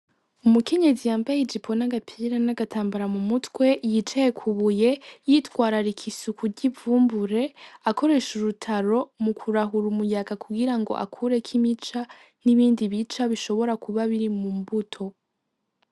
Umukenyezi yambay'ijipo n'agapira n'agatambara mu mutwe yicaye kw'ibuye, yitwararika isuku ry'imfungurwa akoresh'urutaro kugirango agosore neza ivyo bifungurwa.